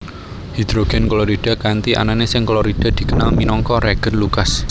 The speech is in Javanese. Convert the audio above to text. Hidrogen klorida kanthi anané seng klorida dikenal minangka reagen Lucas